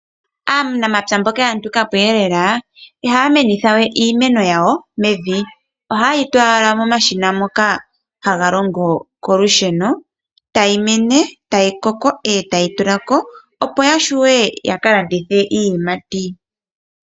Aanamapya mboka ya nuka po lela ihaya menitha we iimeno yawo mevi. Ohaye yi tula owala momashina ngoka haga longo kolusheno tayi mene, tayi koko, eta yi tula ko opo ya vule ya kalandithe iiyimati.